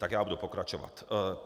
Tak já budu pokračovat.